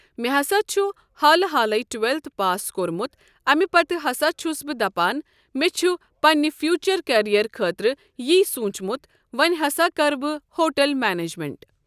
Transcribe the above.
مےٚ ہسا چھُ حالہٕ حالٕے ٹُویٚلتھٕ پاس کوٚرمُت امہِ پتہٕ ہسا چھُس بہٕ دپان مےٚ چھُ پننہِ فیوٗچر کیریر خٲطرٕ یٖی سوٗنٛچمُت وۄنۍ ہسا کرٕ بہٕ ہوٹل مینیٚجمینٛت۔